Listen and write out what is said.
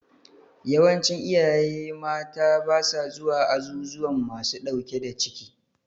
Yawancin iyaye mata ba sa zuwa azuzuwan masu ɗauke da ciki.